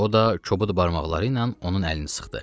O da kobud barmaqları ilə onun əlini sıxdı.